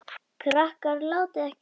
Krakkar látiði ekki svona!